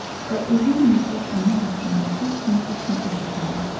Və uzun müddət onun haqqında heç kim heç nə eşitmədi.